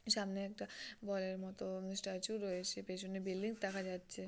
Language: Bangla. সামনে একটা বল এর মতো উম স্ট্যাচু রয়েছে। পেছনে বিল্ডিং দেখা যাচ্ছে।